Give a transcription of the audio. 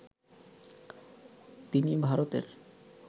তিনি ভারতের